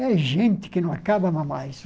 É gente que não acabava mais.